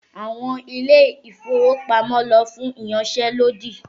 Àwọn ilé-ìfowópamọ́ lọ fún ìyanṣẹ́lódì